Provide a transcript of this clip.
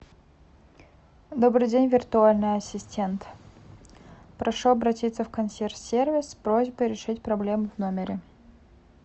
добрый день виртуальный ассистент прошу обратиться в консьерж сервис с просьбой решить проблему в номере